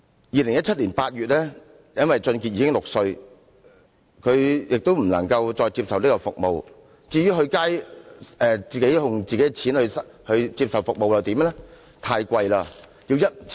2017年8月因為王俊傑已經6歲，他不能再接受這項服務，至於接受自費的服務又如何？